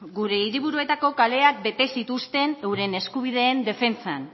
gure hiriburuetako kaleak bete zituzten euren eskubideen defentsan